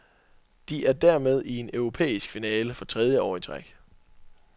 De er dermed i en europæisk finale for tredje år i træk.